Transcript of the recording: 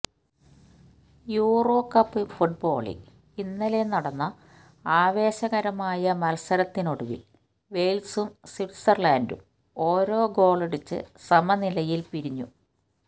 euro cup ഫുട്ബോളില് ഇന്നലെ നടന്ന ആവേശകരമായ മത്സരത്തിനൊടുവില് വെയ്ല്സും സ്വിറ്റ്സര്ലന്ഡും ഓരോ ഗോളടിച്ചു സമനിലയില് പിരിഞ്ഞു